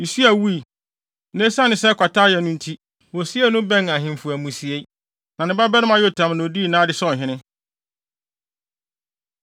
Usia wui, na esiane sɛ kwata yɛɛ no nti, wosiee no bɛn ahemfo amusiei. Na ne babarima Yotam na odii nʼade sɛ ɔhene.